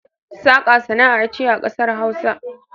Saƙa sana'a ce a ƙasar hausa